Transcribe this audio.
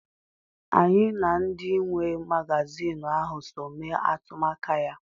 Anyị na ndị nwe magazinụ ahụ so mee atụmaka ya.